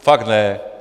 Fakt ne.